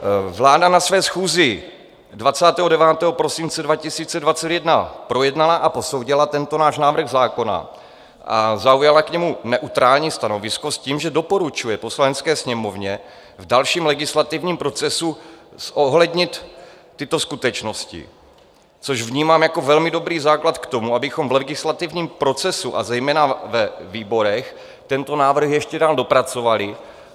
Vláda na své schůzi 29. prosince 2021 projednala a posoudila tento náš návrh zákona a zaujala k němu neutrální stanovisko s tím, že doporučuje Poslanecké sněmovně v dalším legislativním procesu zohlednit tyto skutečnosti, což vnímám jako velmi dobrý základ k tomu, abychom v legislativním procesu a zejména ve výborech tento návrh ještě dál dopracovali.